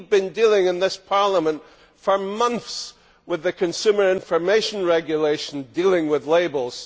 We have been dealing in this Parliament for months with the consumer information regulation dealing with labels.